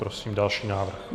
Prosím další návrh.